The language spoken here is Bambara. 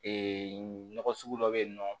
nɔgɔ sugu dɔ bɛ yen nɔ